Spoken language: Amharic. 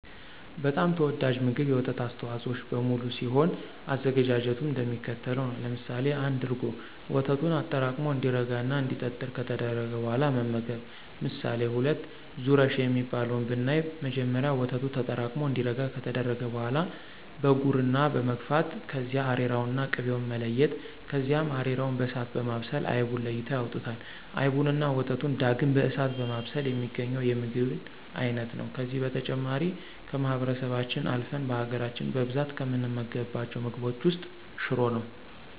በጣም ተወዳጁ ምግብ የወተት አስተዋፆኦዎች በሙሉ ሲሆን አዘገጃጀቱም እንደሚከተለው ነው። ለምሳሌ1፦ እርጎ፦ ወተቱን አጠራቅሞ እንዲረጋ እና እንዲጠጥር ከተደረገ በኋላ መመገብ። ምሳሌ2፦ ዙረሽ የሚባለው ብናይ መጀመሪያ ወተቱ ተጠራቅሙ እንዲረጋ ከተደረገ በኋላ በጉርና መግፋት ከዚያ አሬራውንና ቅቤውን መለያየት ከዚያ አሬራውን በእሳት በማብሰል አይቡን ለይተው ያወጡታል። አይቡንና ወተቱን ዳግም በእሳት በማብሰል የሚገኘው የምግብን አይነት ነው። ከነዚህ በተጨማሪ ከማህበረሰባችን አልፍን በሀገራች በብዛት ከምንመገባቸው ምግቦች ውስጥ ሽሮ ነው።